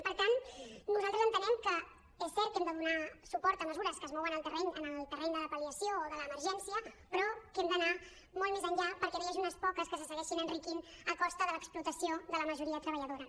per tant nosaltres entenem que és cert que hem de donar suport a mesures que es mouen en el terreny de la pal·liació o de l’emergència però que hem d’anar molt més enllà perquè no hi hagi unes poques que se segueixin enriquint a costa de l’explota·ció de la majoria treballadora